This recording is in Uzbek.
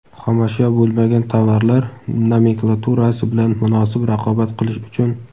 xomashyo bo‘lmagan tovarlar nomenklaturasi bilan munosib raqobat qilish uchun:.